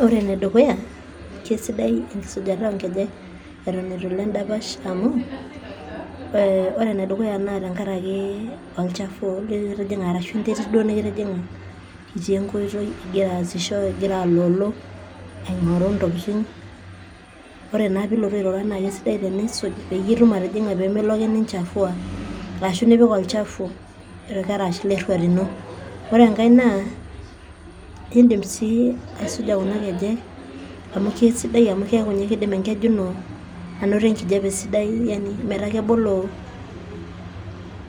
Oore enedukuya kaisidai enkisujata onkejek eton eitu iilo en'dapash amuu oore enedukuya naa olchafu arashu enterit duo nekitijing'a itii enkoitoi, igira aasisho igira aloolo, oore naa tenilotu airura naa kaisidai teniisuj pee milo aake ninchafua arashu nipik olchafu irkarash leruat iino. Oore enkae naa iidim sii aisuja kuuna kejek amuu kaisidai amuu kiaku ninye kiidim enkeju iino anoto enkijape sidai niaku